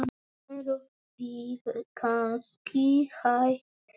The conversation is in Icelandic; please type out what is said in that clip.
Eruð þið kannski hætt saman?